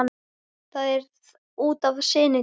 Það er út af syni þínum.